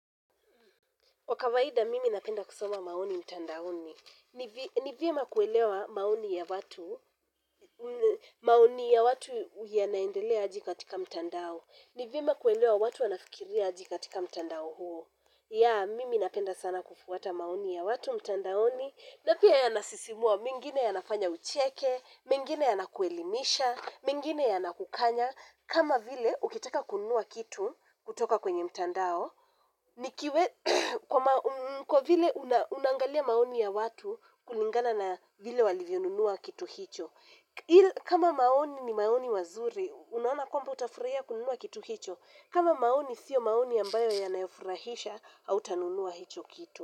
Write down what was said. Kwa kawaida mimi napenda kusoma maoni mtandaoni. Ni vyema kuelewa maoni ya watu, maoni ya watu yanaendelea aje katika mtandao. Ni vyema kuelewa watu wanafikiria aje katika mtandao huo. Mimi napenda sana kufuata maoni ya watu mtandaoni. Na pia yanasisimua mengine yanafanya ucheke, mengine yanakuelimisha, mengine yanakukanya. Kama vile ukitaka kununua kitu kutoka kwenye mtandao, nikiwe kwa vile unaangalia maoni ya watu kulingana na vile walivyonunua kitu hicho. Kama maoni ni maoni wazuri, unaona kwamba utafurahia kununua kitu hicho. Kama maoni sio maoni ambayo yanayofurahisha, hautanunua hicho kitu.